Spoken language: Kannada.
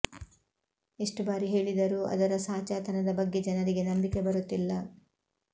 ಎಷ್ಟು ಬಾರಿ ಹೇಳಿದರೂ ಅದರ ಸಾಚಾತನದ ಬಗ್ಗೆ ಜನರಿಗೆ ನಂಬಿಕೆ ಬರುತ್ತಿಲ್ಲ